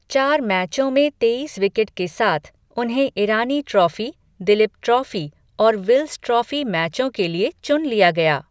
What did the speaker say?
चार मैचों में तेईस विकेट के साथ, उन्हें ईरानी ट्रॉफी, दलीप ट्रॉफी और विल्स ट्रॉफी मैचों के लिए चुन लिया गया।